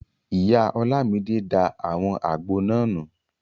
Ìyá Ọlámidé da àwọn àgbo náà nù